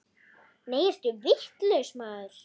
Nei, ertu vitlaus maður!